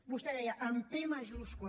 vostè deia amb pe majúscula